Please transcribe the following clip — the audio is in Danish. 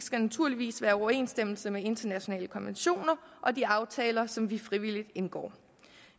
skal naturligvis være i overensstemmelse med internationale konventioner og de aftaler som vi frivilligt indgår